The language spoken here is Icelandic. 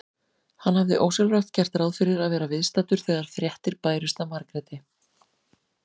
Hann hafði ósjálfrátt gert ráð fyrir að vera viðstaddur þegar fréttir bærust af Margréti.